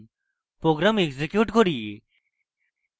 program execute করি